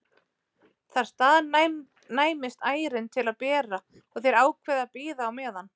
Þar staðnæmist ærin til að bera og þeir ákveða að bíða á meðan.